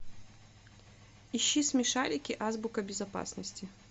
ищи смешарики азбука безопасности